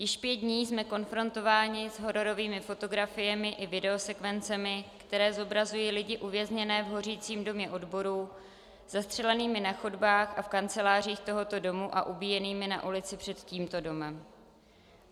Již pět dní jsme konfrontováni s hororovými fotografiemi i videosekvencemi, které zobrazují lidi uvězněné v hořícím Domě odborů, zastřelenými na chodbách a v kancelářích tohoto domu a ubíjenými na ulici před tímto domem.